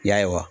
Y'a ye wa